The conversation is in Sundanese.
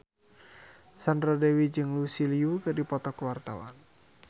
Sandra Dewi jeung Lucy Liu keur dipoto ku wartawan